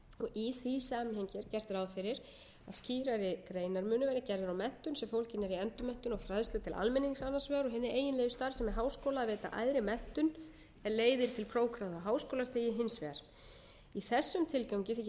í því samhengi er gert ráð fyrir að skýrari greinarmunur verði gerður á menntun sem fólgin er í endurmenntun og fræðslu til almennings annars vegar og hins vegar og hinni eiginlegu starfsemi háskóla að veita æðri menntun er leiðir til prófgráða á háskólastigi hins vegar í þessum tilgangi þykir rétt að